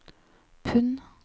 pund